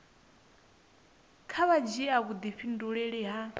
kha vha dzhia vhudifhinduleli ha